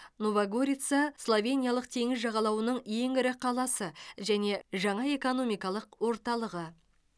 нова горица словениялық теңіз жағалауының ең ірі қаласы және жаңа экономикалық орталығы